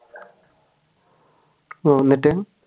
എന്നിട്ട്